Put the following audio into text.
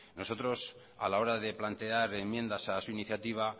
nosotros a la hora de plantear enmiendas a su iniciativa